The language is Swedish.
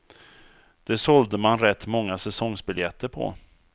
Det sålde man rätt många säsongsbiljetter på.